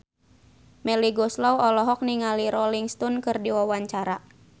Melly Goeslaw olohok ningali Rolling Stone keur diwawancara